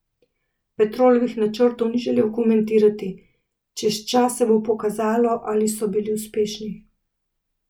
Petrolovih načrtov ni želel komentirati: "Čez čas se bo pokazalo, ali so bili uspešni.